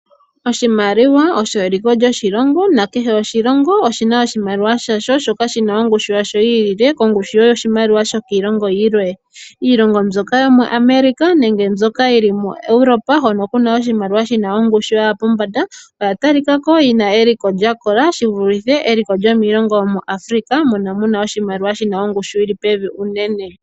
Oshimaliwa osho eliko lyoshilongo, nakehe oshilongo oshina oshimaliwa shasho shoka shina ongushu yasho yi ilile kongushu yoshimaliwa shokiilongo yilwe. Iilongo mbyoka yo moAmerica nenge mbyoka yili muEuropa hono kuna oshimaliwa shina ongushu yaya pombanda oya talika ko yi na eliko lyakola shi vulithe eliko lyomiilongo yaAfrica mono muna oshimaliwa shina ongushu yili pevi unene.